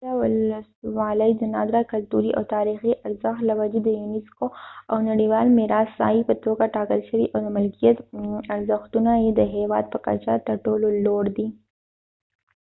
ټوله ولسوالۍ د نادره کلتوري او تاریخي ارزښت له وجې د یونیسکو د نړیوال میراث د ساحې په توګه ټاکل شوې او د ملکیت ارزښتونه یې د هیواد په کچه تر ټولو لوړ دی